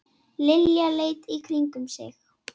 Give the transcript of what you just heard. Lilla leit í kringum sig.